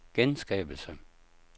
genskabelse